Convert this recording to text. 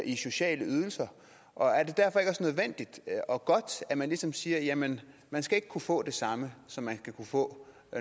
i sociale ydelser og er det derfor ikke også nødvendigt og godt at man ligesom siger jamen man skal ikke kunne få det samme som man skal kunne få